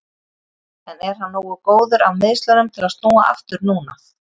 En er hann nógu góður af meiðslunum til að snúa aftur núna?